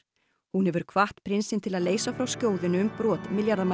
hún hefur hvatt prinsinn til að leysa frá skjóðunni um brot